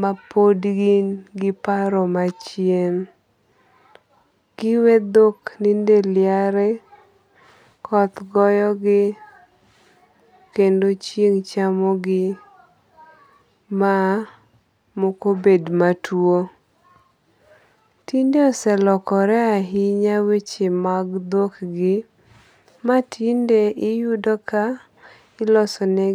ma pod gin gi paro machien. Giwe dhok ninde liari, koth goyo gi, kendo chieng' chamo gi ma moko bed matuo. Tinde oselokore ahinya weche mag dhok gi matinde iyudo ka ilosonegik.